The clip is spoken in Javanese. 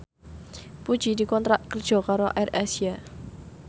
Puji dikontrak kerja karo AirAsia